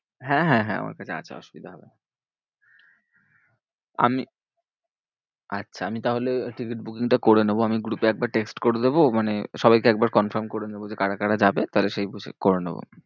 হ্যাঁ হ্যাঁ হ্যাঁ আমার কাছে আছে অসুবিধা হবে না। আমি আচ্ছা আমি তাহলে টিকিট booking টা করে নেবো। আমি group এ একবার text করে দেব। মানে সবাইকে একবার confirm করে নেবো যে কারা কারা যাবে? তাহলে সেই বুঝে করে নেবো।